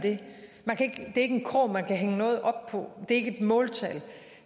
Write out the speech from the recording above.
det det er ikke en krog man kan hænge noget op på det er ikke et måltal